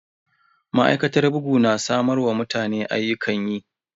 Ma'aikatar bugu na samar wa mutane ayyukan yi.